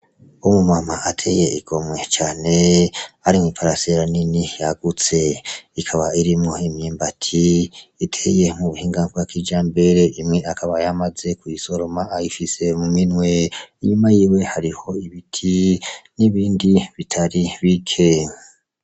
Umu mama ateye igomwe cane, ari mw'iparasera nini yagutse, ikaba irimwo imyimbati iteye mu buhinga bwa kijambere, imwe akaba yamaze kuyisoroma ayifise mu minwe, inyuma yiwe hariho ibiti, n'ibindi bitari bike.